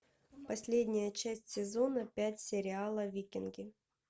последняя часть сезона пять сериала викинги